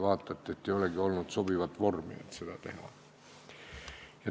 Näete isegi, et ei ole sobivat vormi, kuidas seda teha.